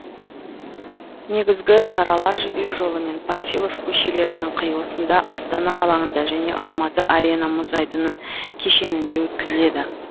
негізгі шаралар жібек жолы мен панфилов көшелерінің қиылысында астана алаңында және алматы арена мұз айдыны кешенінде өткізіледі